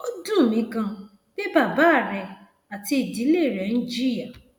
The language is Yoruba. ó dùn mí ganan pé bàbá rẹ àti ìdílé rẹ ń jìyà